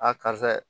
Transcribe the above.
A karisa